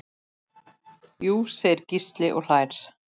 Jú segir Gísli og hlær.